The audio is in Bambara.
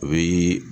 O ye